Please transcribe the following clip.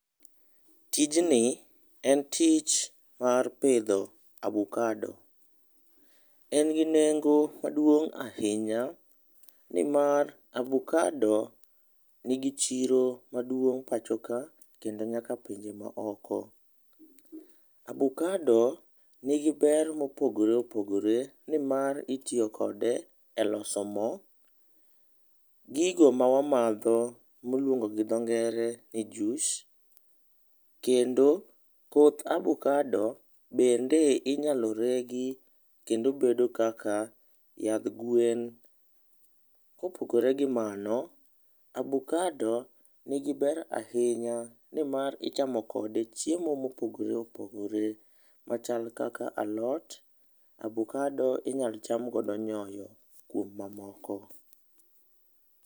Tijni en tich mar pitho abukado. En gi nengo maduong' ahinya nimar abukado nigi chiro maduong' pacho ka kendo nyaka pinje maoko. Abukado nigi ber mopogore opogore nimar itiyo kode eloso mo, gigo ma wamadho miluongo gi dhongere ni juice, kendo koth abukado bende inyalo regi kendo bedo kaka yadh gwen. Kopogore gi mano, abukado nigi ber ahinya nimar ichamo kode chiemo mopogore opogore, machal kaka alot, abukado inyalo cham kodo nyoyo kod mamoko.